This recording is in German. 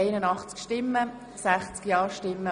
2016.RRGR.1033 Vorstoss-Nr.: